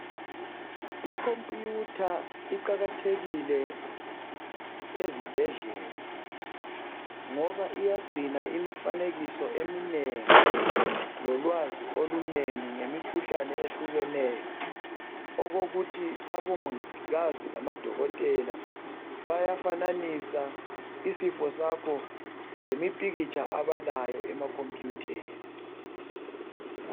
Ikhompiyutha iqakathekile ezibhedlela ngoba iyagcina imifanekiso eminengi lolwazi olunengi ngemikhuhlane ehlukeneyo okokuthi omongokazi labo dokotela bayafananisa isipho sakho lemipikitsha abalayo emakhompiyutheni.